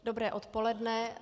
Dobré odpoledne.